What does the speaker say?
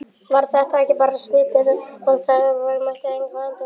Var þetta ekki bara svipað og þegar við mættum Englendingunum?